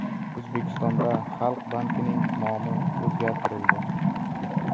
O‘zbekistonda Xalq bankining nomi o‘zgartirildi.